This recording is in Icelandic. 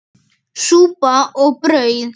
Súpa og brauð.